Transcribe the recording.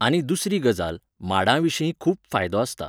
आनी दुसरी गजाल, माडा विशीं खूब फायदो आसता.